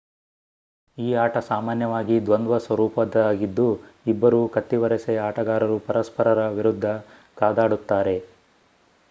ಈ ಆಟ ಸಾಮಾನ್ಯವಾಗಿ ದ್ವಂದ್ವ ಸ್ವರೂಪದ್ದಾಗಿದ್ದು ಇಬ್ಬರು ಕತ್ತಿವರಸೆಯ ಆಟಗಾರರು ಪರಸ್ಪರರ ವಿರುಧ್ದ ಕಾದಾಡುತ್ತಾರೆ